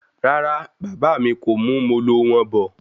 Rárá, bàbá mí kò mú Molo wọn bọ̀